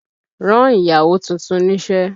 Rán ìyàwó tuntun níṣẹ́!